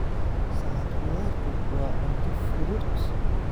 Salad khudaartu waa cunto fudud.